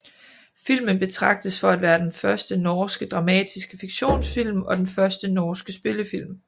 Filmen betragtes for at være den første norske dramatiske fiktionsfilm og den første norske spillefilm